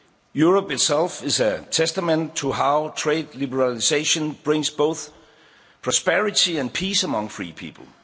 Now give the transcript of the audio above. trade. Europe itself is a testament to how trade liberalisation brings both prosperity and peace among free